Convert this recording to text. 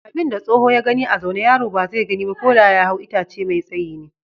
Abin da tsoho ya gani a zaune yaro ba zai gani ba ko da ya hau itace mafi tsayi ne.